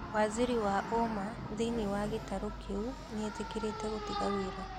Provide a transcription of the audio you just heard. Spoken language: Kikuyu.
Waziri wa ũma thĩini wa gĩtaru kĩu nĩetĩkĩrĩte gũtiga wĩra